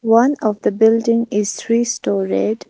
One of the building is three storeyed.